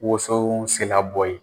Wason sera bɔ ye.